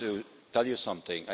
I want to tell you something.